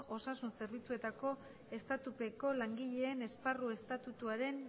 osasun zerbitzuetako estatutupeko langileen esparru estatutuaren